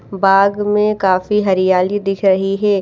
बाग में काफी हरियाली दिख रही है।